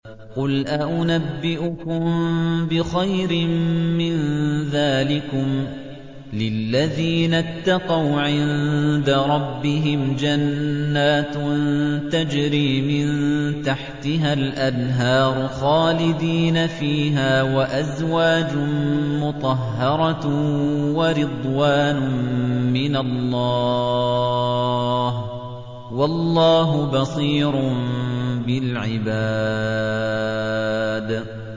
۞ قُلْ أَؤُنَبِّئُكُم بِخَيْرٍ مِّن ذَٰلِكُمْ ۚ لِلَّذِينَ اتَّقَوْا عِندَ رَبِّهِمْ جَنَّاتٌ تَجْرِي مِن تَحْتِهَا الْأَنْهَارُ خَالِدِينَ فِيهَا وَأَزْوَاجٌ مُّطَهَّرَةٌ وَرِضْوَانٌ مِّنَ اللَّهِ ۗ وَاللَّهُ بَصِيرٌ بِالْعِبَادِ